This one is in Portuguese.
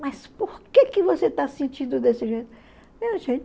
Mas por que que você está sentindo desse jeito?